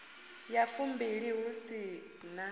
ya fumbilimbili hu si na